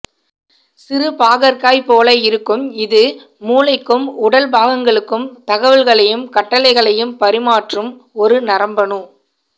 சிறு பாகற்காய் போல இருக்கும் இது மூளைக்கும் உடல் பாகங்களுக்கும் தகவல்களையும் கட்டளைகளையும் பறிமாற்றும் ஒரு நரம்பணு